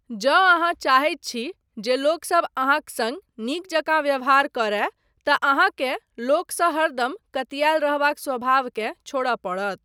जँ अहाँ चाहैत छी जे लोकसब अहाँक सङ्ग नीक जकाँ व्यवहार करय तँ अहाँकेँ लोकसँ हरदम कतियाअल रहबाक स्वभावकेँ छोड़य पड़त।